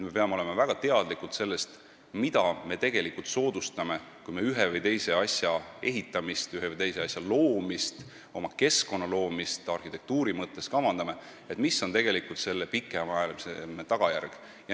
Me peame olema väga teadlikud sellest, mida me tegelikult soodustame, kui me ühe või teise asja ehitamist, ühe või teise asja loomist, oma keskkonna loomist arhitektuuri mõttes kavandame, ja saama aru, mis on selle pikaajaline tagajärg.